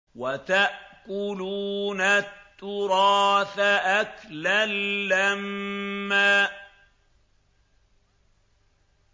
وَتَأْكُلُونَ التُّرَاثَ أَكْلًا لَّمًّا